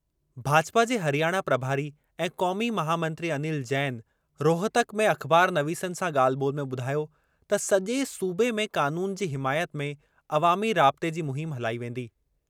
भाजपा जे हरियाणा प्रभारी ऐं क़ौमी महामंत्री अनिल जैन रोहतक में अख़बारनवीसनि सां ॻाल्हि ॿोल्हि में ॿुधायो त सजे॒ सूबे में क़ानून जी हिमायत में अवामी राबिते जी मुहिम हलाई वेंदी।